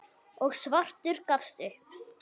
og svartur gafst upp.